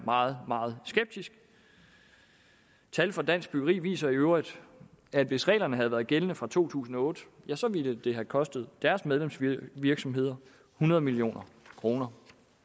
meget meget skeptiske tal fra dansk byggeri viser øvrigt at hvis reglerne havde været gældende fra to tusind og otte ville det have kostet deres medlemsvirksomheder hundrede million kroner